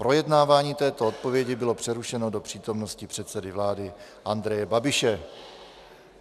Projednávání této odpovědi bylo přerušeno do přítomnosti předsedy vlády Andreje Babiše.